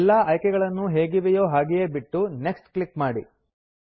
ಎಲ್ಲಾ ಆಯ್ಕೆಗಳನ್ನೂ ಹೇಗಿವೆಯೋ ಹಾಗೇ ಬಿಟ್ಟು ನೆಕ್ಸ್ಟ್ ಕ್ಲಿಕ್ ಮಾಡಿ